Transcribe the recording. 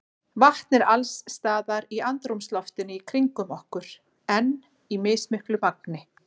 Vatn er alls staðar í andrúmsloftinu í kringum okkur en í mismiklu magni.